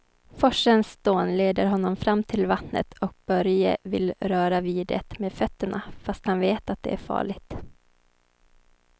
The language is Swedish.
Forsens dån leder honom fram till vattnet och Börje vill röra vid det med fötterna, fast han vet att det är farligt.